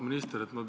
Auväärt minister!